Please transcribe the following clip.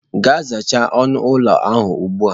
Gaa zachaa onu ụlọ ahụ ugbu a.